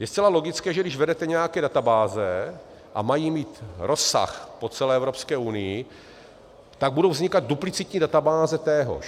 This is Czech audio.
Je zcela logické, že když vedete nějaké databáze a mají mít rozsah po celé Evropské unii, tak budou vznikat duplicitní databáze téhož.